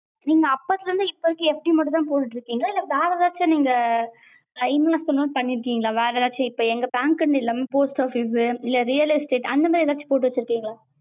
நீங்க அப்பத்துல இருந்து இப்ப வரைக்கும் FD மட்டும் தான் போட்டுட்டு இருக்கீங்களா இல்ல வேற எதாச்சும் நீங்க investment பன்னிருகிங்களா இப்ப வேற எதாச்சும் இப்ப எங்க bank னு இல்லாம post office இல்ல real estate அந்த மாதிரி எதாச்சும் போட்டு வச்சிருக்கிங்களா?